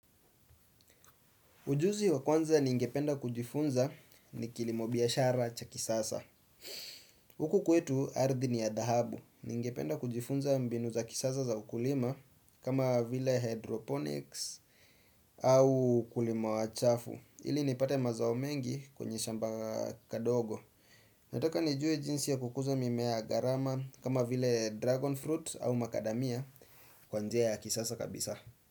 Ujuzi wa kwanza ningependa kujifunza ni kilimo biashara cha kisasa. Huku kwetu ardhi ni ya dhahabu. Ningependa kujifunza mbinu za kisasa za ukulima kama vile hydroponics au kulima wa chafu. Ili nipate mazao mengi kwenye shamba kadogo. Nataka nijue jinsi ya kukuza mimea ya gharama kama vile dragon fruit au makadamia kwanjea ya kisasa kabisa.